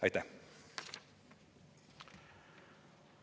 Aitäh!